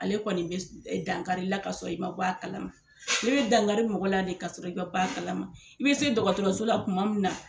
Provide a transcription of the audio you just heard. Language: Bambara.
Ale kɔni bɛ dangakari i la ka sɔrɔ i ma bɔ a kala ma bɛ dankari mɔgɔ la de ka sɔrɔ i ma bɔ a kala ma i bɛ se dɔgɔtɔrɔso la kuma mun na.